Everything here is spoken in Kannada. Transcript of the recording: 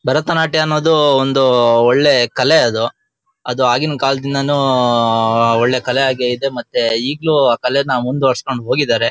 ಭರತನಾಟ್ಯ ಅನ್ನೋದು ಒಂದು ಒಳ್ಳೆ ಕಲೆ ಅದು ಅದು ಆಗಿನ ಕಾಲದಿಂದಾನು ಉಮ್ಮ್ಮ್ಮ್ಮ್ ಒಳ್ಳೆ ಕಲೆ ಆಗೇ ಇದೆ ಮತ್ತೆ ಈಗ್ಲೂ ಆ ಕಲೆ ಮುಂದ್ ಒರೆಸ್ಕೊಂಡು ಹೋಗಿದ್ದಾರೆ.